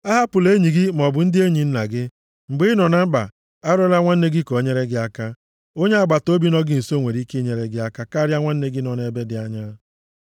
Ahapụla enyi gị maọbụ ndị enyi nna gị. Mgbe ị nọ na mkpa arịọla nwanne gị ka o nyere gị aka. Onye agbataobi nọ gị nso nwere ike inyere gị aka karịa nwanne gị nọ ebe dị anya.